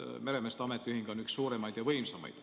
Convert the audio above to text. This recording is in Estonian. Meremeeste ametiühing on üks suuremaid ja võimsamaid.